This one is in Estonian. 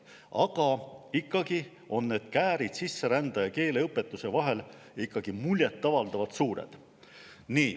Aga ikkagi on need käärid sisserändajate ja keeleõpetuse vahel muljet avaldavalt suured.